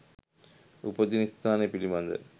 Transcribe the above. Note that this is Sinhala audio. උපදින ස්ථාන පිළිබඳ